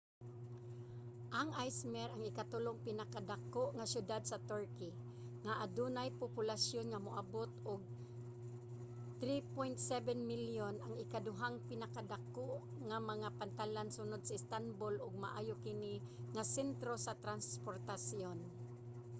ang izmir ang ikatulong pinakadako nga siyudad sa turkey nga adunay populasyon nga moabot og 3.7 milyon ang ikaduhang pinakadako nga mga pantalan sunod sa istanbul ug maayo kini nga sentro sa transportasyon